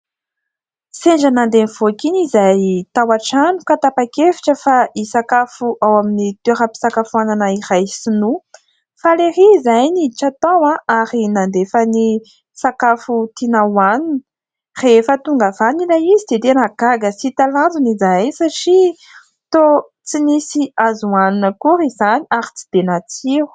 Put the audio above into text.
Sendra nandeha nivoaka iny izahay tao an-trano, ka tapa-kevitra fa hisakafo ao amin'ny toera-pisakafoanana iray sinoa; faly erý izahay niditra tao ary nandefa ny sakafo tiana hohanina; rehefa tonga avy any ilay izy dia tena gaga sy talanjona izahay, satria toa tsy nisy azo hanina akory izany ary tsy dia natsiro.